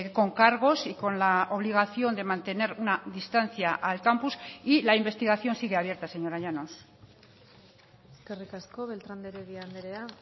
con cargos y con la obligación de mantener una distancia al campus y la investigación sigue abierta señora llanos eskerrik asko beltrán de heredia andrea